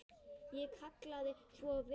Ég kvað svo vera.